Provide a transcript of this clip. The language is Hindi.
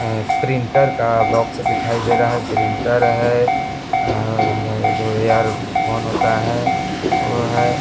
मम प्रिंटर का बॉक्स दिखाई दे रहा है प्रिंटर है और जो एयरफोन होता है ओ है।